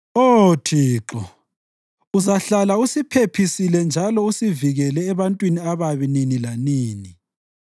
Oh Thixo, uzahlala usiphephisile njalo usivikele ebantwini ababi nini lanini.